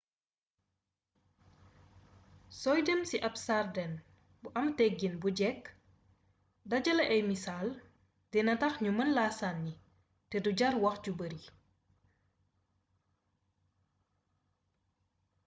sooy dem ci ab sàrdeŋ bu am teggiin bu jekk dajale ay misaal dina tax ñu mën laa sànni te du jàr wax ju bari